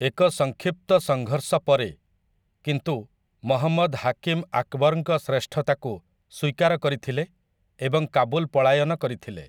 ଏକ ସଂକ୍ଷିପ୍ତ ସଂଘର୍ଷ ପରେ, କିନ୍ତୁ, ମହମ୍ମଦ୍‌ ହାକିମ୍‌ ଆକବରଙ୍କ ଶ୍ରେଷ୍ଠତାକୁ ସ୍ୱୀକାର କରିଥିଲେ ଏବଂ କାବୁଲ ପଳାୟନ କରିଥିଲେ ।